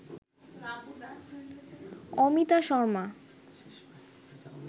Amita Sharma